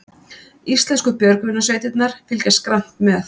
Íslenskar björgunarsveitir fylgjast grannt með